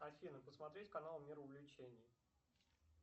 афина посмотреть канал мир увлечений